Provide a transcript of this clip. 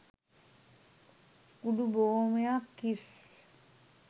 කූඩු බොහෝමයක් හිස්